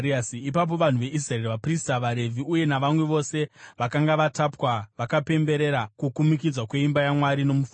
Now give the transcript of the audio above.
Ipapo vanhu veIsraeri, vaprista, vaRevhi uye navamwe vose vakanga vakatapwa, vakapemberera kukumikidzwa kweimba yaMwari nomufaro.